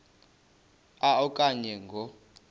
a okanye ngo